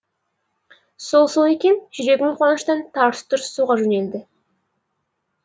сол сол екен жүрегім қуаныштан тарс тұрс соға жөнелді